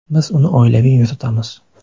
Biz uni oilaviy yuritamiz.